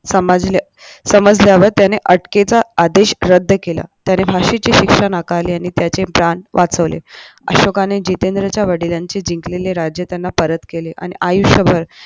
समजले समजल्यावर त्याने अटकेचा आदेश रद्द केला त्याने भाषेची शिक्षणासाठी आणि त्याचे प्राण वाचवले अशोक ने जितेंद्र च्या वडिलांचे जिंकलेले राज्य त्यांना परत केले आणि आयुष्यभर